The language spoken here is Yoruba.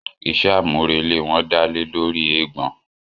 Iṣé àmúrelé wọn dálé lóri eégbọn.